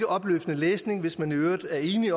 opløftende læsning hvis man i øvrigt er enig